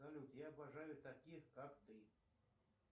салют я обожаю таких как ты